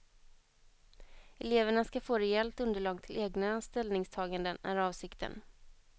Eleverna ska få rejält underlag till egna ställningstaganden, är avsikten.